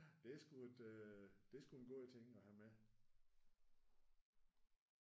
Det er sgu et det er sgu en god ting at have med